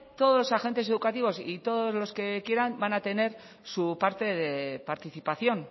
todos los agentes educativos y todos los que quieran van a tener su parte de participación